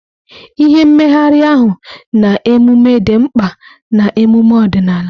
Ihe, mmegharị ahụ, na emume dị mkpa na emume ọdịnala.